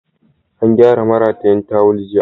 An gyara maratayin tawul jiya.